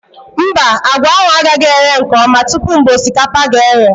Mba, àgwà ahụ agaghị eghe nke ọma tupu mgbe osikapa ga eghe